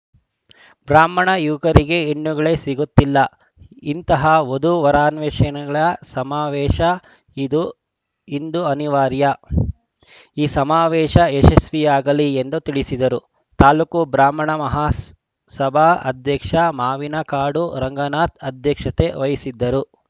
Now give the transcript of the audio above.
ಬ್ರಾಹ್ಮಣ ಯುವಕರಿಗೆ ಹೆಣ್ಣುಗಳೇ ಸಿಗುತ್ತಿಲ್ಲ ಇಂತಹ ವಧು ವರಾನ್ವೇಷಣೆ ಸಮಾವೇಶ ಇದು ಇಂದು ಅನಿವಾರ್ಯ ಈ ಸಮಾವೇಶ ಯಶಸ್ವಿಯಾಗಲಿ ಎಂದು ತಿಳಿಸಿದರು ತಾಲೂಕು ಬ್ರಾಹ್ಮಣ ಮಹಾಸಭಾ ಅಧ್ಯಕ್ಷ ಮಾವಿನಕಾಡು ರಂಗನಾಥ್‌ ಅಧ್ಯಕ್ಷತೆ ವಹಿಸಿದ್ದರು